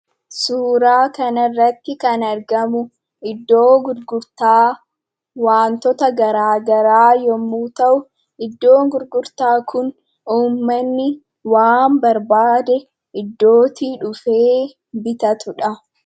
Suuraa kanarratti kan argamu iddoo gurgurtaa wantoota garaagaraa yommuu ta'u, iddoon gurgurtaa kun uummanni waan barbaade iddootii dhufe bitatudha.